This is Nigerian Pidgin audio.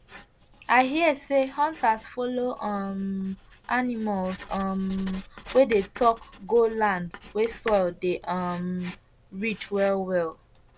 i hear say hunters follow um animals um wey dey talk go land wey soil dey um rich well well